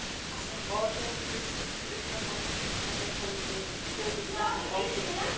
Báðar tegundir lykla framkalla tölur samkvæmt ákveðnu kerfi.